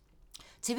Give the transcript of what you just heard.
TV 2